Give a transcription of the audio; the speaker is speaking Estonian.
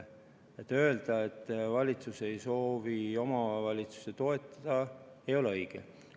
Öelda, et valitsus ei soovi omavalitsusi toetada, ei ole õige.